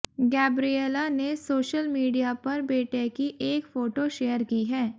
Gabriela ने social media पर बेटे की एक फोटो शेयर की है